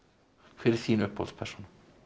hver er þín uppáhalds persóna